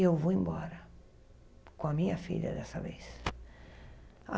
Eu vou embora com a minha filha dessa vez.